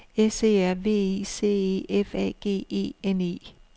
S E R V I C E F A G E N E